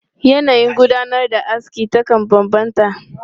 Yanayin gudanar da aski takan bambanta.